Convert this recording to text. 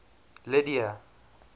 lydia